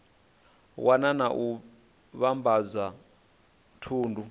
wana na u vhambadza thundu